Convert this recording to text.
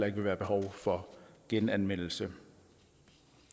ikke vil være behov for genanmeldelse